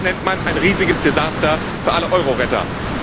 das nennt man ein riesiges Desaster für alle Euro Retter.